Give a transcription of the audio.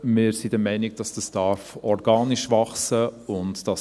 Wir sind aber der Meinung, dass dies organisch wachsen darf.